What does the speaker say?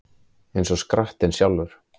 Eins og skrattinn sjálfur